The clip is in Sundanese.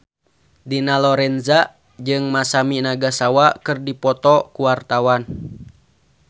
Dina Lorenza jeung Masami Nagasawa keur dipoto ku wartawan